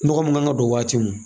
Nɔgɔ mun kan ka don waati min